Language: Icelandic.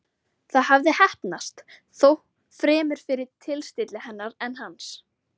Það hafði heppnast, þó fremur fyrir tilstilli hennar en hans.